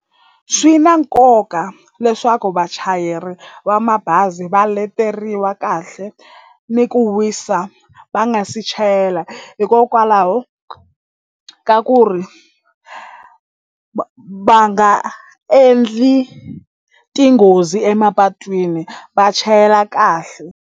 Swi na nkoka leswaku vachayeri va mabazi va leteriwa kahle ni ku wisa va nga se chayela hikokwalaho ka ku ri va nga endli tinghozi emapatwini va chayela kahle.